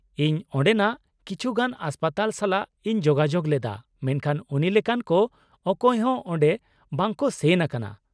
-ᱤᱧ ᱚᱸᱰᱮᱱᱟᱜ ᱠᱤᱪᱷᱩ ᱜᱟᱱ ᱦᱟᱥᱯᱟᱛᱟᱞ ᱥᱟᱞᱟᱜ ᱤᱧ ᱡᱳᱜᱟᱡᱳᱜ ᱞᱮᱫᱟ ᱢᱮᱱᱠᱷᱟᱱ ᱩᱱᱤ ᱞᱮᱠᱟᱱ ᱠᱚ ᱚᱠᱚᱭ ᱦᱚᱸ ᱚᱸᱰᱮ ᱵᱟᱠᱚ ᱥᱮᱱ ᱟᱠᱟᱱᱟ ᱾